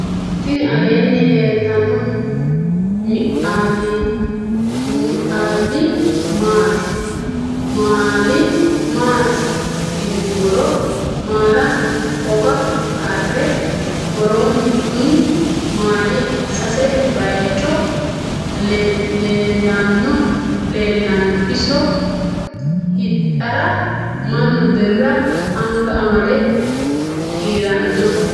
tini aleni leltano miaile matti yinumoro. maalaho hoga kare wooroni kuni maali sase bayicho leelano. iso hidhara manu biira anga amade kiirano.